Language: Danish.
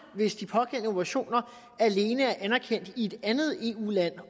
hvis de pågældende operationer alene er anerkendt i et andet eu land